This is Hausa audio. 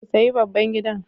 Ku sayi babban gidan.